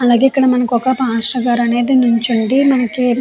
అలాగే ఇక్కడ మనకి ఒక పాస్టర్ గారైతే నుంచొని. --